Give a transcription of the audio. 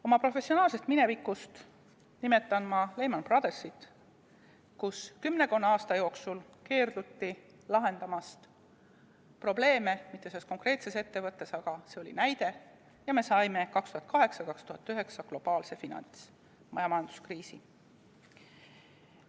Oma professionaalsest minevikust nimetan ma Lehman Brothersit, kus kümmekonna aasta jooksul keelduti lahendamast probleeme – mitte selles konkreetses ettevõttes, aga see oli näide – ja me saime 2008–2009 globaalse finants- ja majanduskriisi.